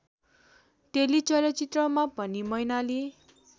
टेलिचलचित्रमा पनि मैनाली